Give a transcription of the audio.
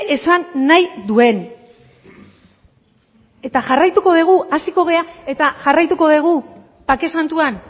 esan nahi duen eta jarraituko dugu hasiko gara eta jarraituko dugu bake santuan